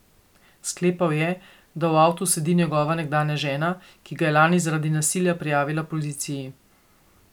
Sklepal je, da v avtu sedi njegova nekdanja žena, ki ga je lani zaradi nasilja prijavila policiji.